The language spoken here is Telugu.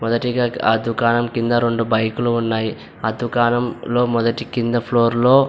మొదటిగా ఆ దుకాణం కింద రెండు బైక్ లు ఉన్నాయి. ఆ దుకాణంలో మొదటి కింద ఫ్లోర్ లో --